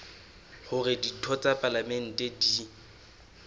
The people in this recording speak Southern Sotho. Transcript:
hore ditho tsa palamente di